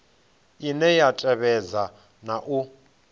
ine ya tevhedza na u